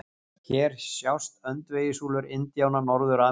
Hér sjást öndvegissúlur indjána Norður-Ameríku.